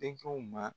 Denkɛw ma